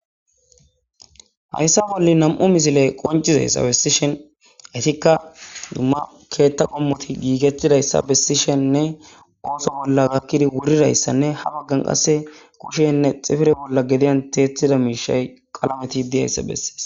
Haysa bolli nam7u mislee qonccissesawe bessishin etikka dumma keeththa qommoththi giigeththida isa bessishinne ooso bolla gakkiri wurira isanne ha baggan qassi kushenne xifire bolla gediyan thiyeththida miishshay qalameti de7isa besses.